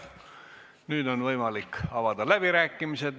Nüüd on võimalik avada läbirääkimised.